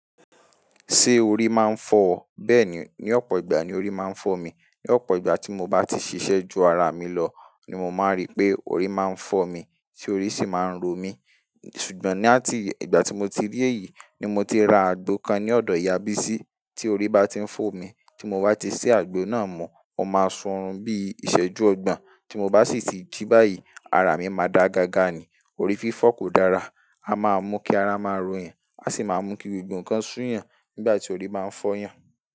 Ṣé orí máa ń fọ ọ? Bẹ́ẹ̀ni, ní ọ̀pọ̀ ìgbà ni orí máa ń fọ́ mi. Ní ọ̀pọ̀ ìgbà tí mo bá ti ṣiṣẹ́ ju ara mi lọ ni mo máa rí pé orí máa ń fọ́ mi, tí orí sì máa ń ro mi. Sugbon ni àti ìgbà tí mo ti rí èyí ni mo ti ra àgbo kan ní ọ̀dọ̀ Ìyá Bísí, tí orí bá ti ń fọ́ mi, tí mo bá ti ṣé àgbo náà mu, ó máa ṣun ọorun bí ìṣẹ́jú ọgbọ̀n, tí mo bá sì ti jí báyìí, ara mi máa da gaga ni. Orí fífọ́ kò dára, a máa mú kí ara máa rò yàn, a sì máa mú kí gbogbọ nkan sú yàn nígbà tí orí máa ń fọ́ yàn.